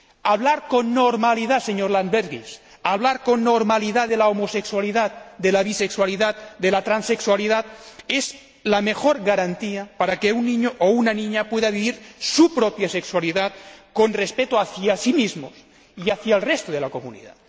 Hablar con normalidad, señor Landsbergis, hablar con normalidad de la homosexualidad, de la bisexualidad y de la transexualidad es la mejor garantía para que un niño o una niña pueda vivir su propia sexualidad con respeto hacia sí mismo y hacia el resto de la comunidad.